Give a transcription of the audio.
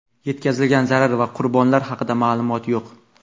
Yetkazilgan zarar va qurbonlar haqida ma’lumot yo‘q.